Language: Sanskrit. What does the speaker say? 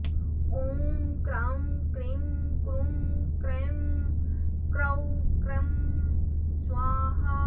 ॐ क्राँ क्रीँ क्रूँ क्रैँ क्रौँ क्रः स्वाहा